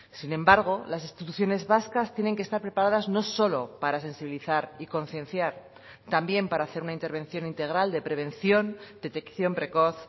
sin embargo las instituciones vascas tienen que estar preparadas no solo para sensibilizar y concienciar también para hacer una intervención integral de prevención detección precoz